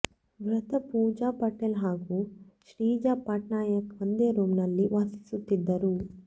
ಮೃತ ಪೂಜಾ ಪಟೇಲ್ ಹಾಗೂ ಶ್ರೀಜಾ ಪಟ್ನಾಯಕ್ ಒಂದೇ ರೂಮ್ ನಲ್ಲಿ ವಾಸಿಸುತ್ತಿದ್ದರು